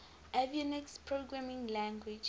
avionics programming language